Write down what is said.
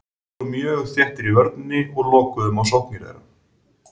Við vorum mjög þéttar í vörninni og lokuðum á sóknir þeirra.